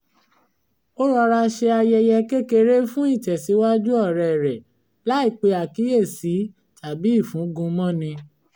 ó rọra ṣe ayẹyẹ kékeré fún ìtẹ̀síwájú ọ̀rẹ́ rẹ̀ láì pe àkíyèsí tàbí ìfúngun mọ́ ni